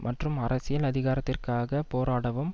மற்றும் அரசியல் அதிகாரத்திற்காக போராடவும்